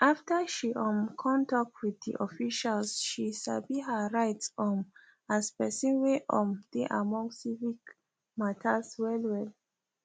after she um kon tok with di officials she sabi her rights um as pesin wey um dey among civic matters well well